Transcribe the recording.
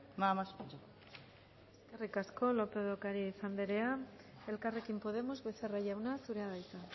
nada más muchas gracias eskerrik asko lópez de ocariz anderea elkarrekin podemos becerra jauna zurea da hitza